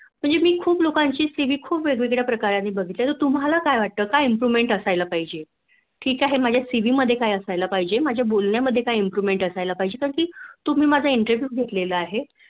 म्हणजे मी खूप लोकांचे CV खूप वेगवेगळ्या प्रकाराने बघितलेले आहे तर तुम्हाला काय वाटत Improvment असायला पाहिजे ठीक आहे माझ्या CV मध्ये काय असायला पाहिजे माझ्या बोलण्या मध्ये काय Improvement असायला पाहिजे कारण तुम्ही माझा Interview घेतलेला आहे